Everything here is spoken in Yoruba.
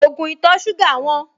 Ògùn ìtọ̀-ṣúgà wọ́n